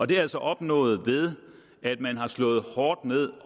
det er altså opnået ved at man har slået hårdt ned